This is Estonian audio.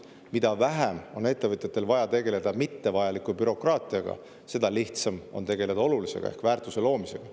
Mida vähem on ettevõtjatel vaja tegeleda mittevajaliku bürokraatiaga, seda lihtsam on tegeleda olulisega ehk väärtuse loomisega.